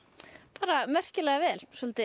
bara vel svolítið